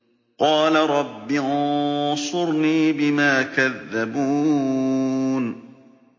قَالَ رَبِّ انصُرْنِي بِمَا كَذَّبُونِ